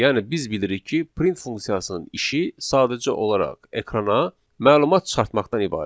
Yəni biz bilirik ki, print funksiyasının işi sadəcə olaraq ekrana məlumat çıxartmaqdan ibarətdir.